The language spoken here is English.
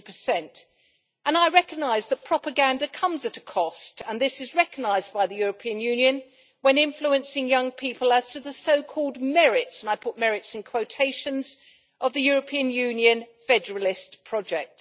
40. I recognise that propaganda comes at a cost, and this is recognised by the European Union when influencing young people as to the so called merits', and I put merits in quotation marks, of the European Union federalist project.